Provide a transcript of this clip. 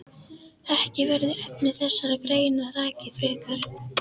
Ekki verður efni þessarar greinar rakið frekar.